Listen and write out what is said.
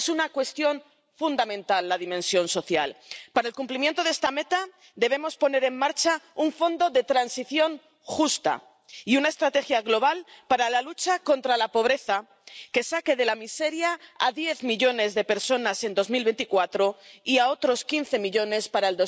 Es una cuestión fundamental, la dimensión social. Para el cumplimiento de esta meta debemos poner en marcha un fondo de transición justa y una estrategia global para la lucha contra la pobreza, que saque de la miseria a diez millones de personas en 2024 y a otros quince millones para